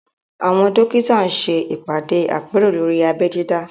Àwọn dókítà ṣe ìpàdé àpérò lórí abẹ́ dídá